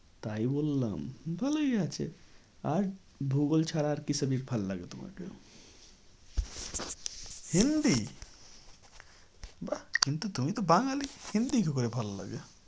তাই বললাম ভালোই আছে। আর ভূগোল ছাড়া আর কি subject ভালো লাগে তোমাকে? hindi? বাহ কিন্তু তুমি তো বাঙালি hindi কি করে ভালো লাগে?